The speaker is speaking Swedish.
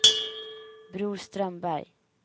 Bror Strömberg